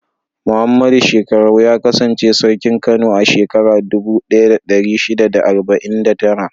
Muhammadu Shekkarau ya kasance Sarkin Kano a shekarar dubu ɗaya da ɗari shida da arba'in da tara.